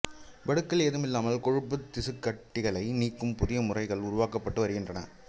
வடுக்கள் ஏதுமில்லாமல் கொழுப்புத் திசுக்கட்டிகளை நீக்கும் புதிய முறைகள் உருவாக்கப்பட்டு வருகின்றன